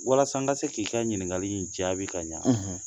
Walasa n ka se k'i ka ɲininkali in jaabi ka ɲɛ